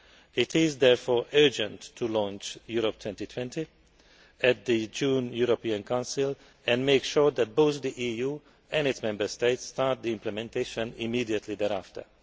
It is therefore urgent to launch Europe 2020 at the June European Council and make sure that both the EU and its Member States start the implementation immediately thereafter.